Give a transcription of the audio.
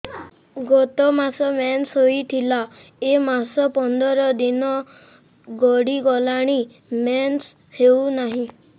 ଗତ ମାସ ମେନ୍ସ ହେଇଥିଲା ଏ ମାସ ପନ୍ଦର ଦିନ ଗଡିଗଲାଣି ମେନ୍ସ ହେଉନାହିଁ